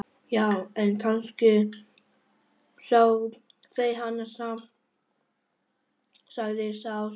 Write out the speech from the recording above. Já, en kannski sjá þeir hana samt, sagði sá stutti.